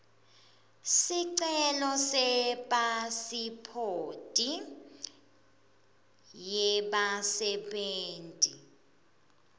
sicelo sepasiphothi yebasebenti